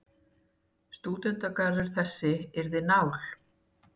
Stúdentagarður þessi yrði nál.